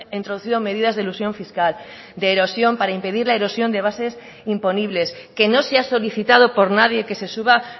introducido medidas de elusión fiscal de erosión para impedir la erosión de bases imponibles que no se ha solicitado por nadie que se suba